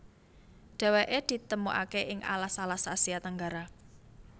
Déwéké ditemukaké ing alas alas Asia Tenggara